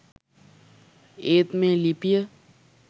ඒත් මේ ලිපිය